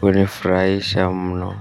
hunifurahisha mno.